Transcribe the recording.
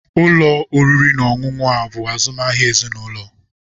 Ụlọ oriri na ọṅụṅụ a bụ azụmahịa ezinụlọ.